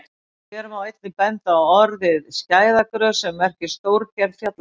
Hér má einnig benda á orðið skæðagrös sem merkir stórgerð fjallagrös.